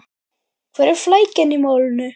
Hvar er flækjan í málinu?